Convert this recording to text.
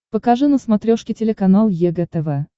покажи на смотрешке телеканал егэ тв